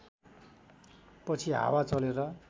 पछि हावा चलेर